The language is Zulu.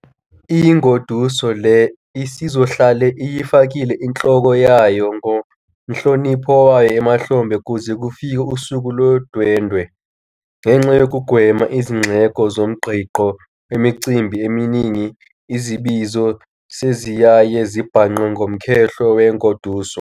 Ingoduso le isizohlale iyifakile inhloko yayo nomhlonipho wayo emahlombe kuze kufike usuku lo dwendwe. Ngenxa yokugwema izindleko zomgqigqo wemicimbi eminingi izibizo seziyaye zibhanqwe nomkhehlo wengoduso.